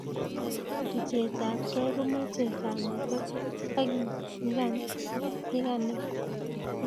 luchet apkei komochei kanetet ak nyikanatet